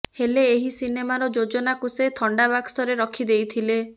ହେଲେ ଏହି ସିନେମାର ଯୋଜନାକୁ ସେ ଥଣ୍ଡାବାକ୍ସରେ ରଖି ଦେଇଥିଲେ